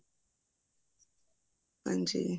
ਹਾਂਜੀ